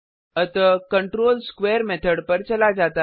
अतः control square method पर चला जाता है